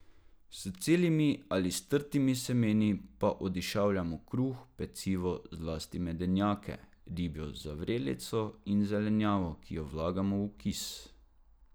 S celimi ali strtimi semeni pa odišavljamo kruh, pecivo, zlasti medenjake, ribjo zavrelico in zelenjavo, ki jo vlagamo v kis.